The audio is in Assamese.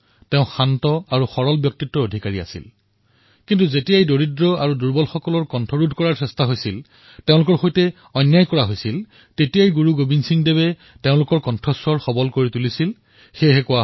তেওঁ শান্ত আৰু সৰল ব্যক্তিত্বৰ অধিকাৰী আছিল কিন্তু যেতিয়াই দুখীয়া তথা দুৰ্বল শ্ৰেণীক ন্যায়ৰ প্ৰয়োজন হৈছিল তেতিয়াই গুৰুজীয়ে তেওঁলোকৰ সৈতে থিয় দিছিল আৰু সেইবাবে কোৱা হয়